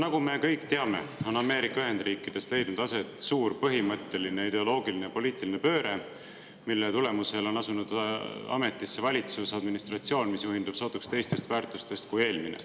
Nagu me kõik teame, on Ameerika Ühendriikides leidnud aset suur põhimõtteline ideoloogiline ja poliitiline pööre, mille tulemusel on asunud ametisse valitsus, administratsioon, mis juhindub sootuks teistest väärtustest kui eelmine.